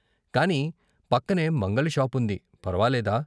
కాని పక్కనే మంగలి షాపుంది ఫర్వాలేదా?